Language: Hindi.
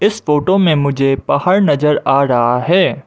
इस फोटो में मुझे पहाड़ नजर आ रहा है।